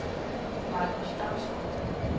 Marcus Damsgaard